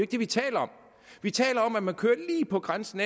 det vi taler om vi taler om at man kører lige på grænsen